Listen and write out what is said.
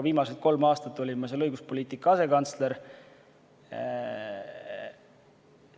Viimased kolm aastat olin ma seal õiguspoliitika asekantsler.